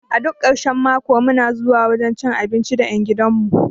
A duk karshen mako muna zuwa wajan cin abinci da ƴan gidan mu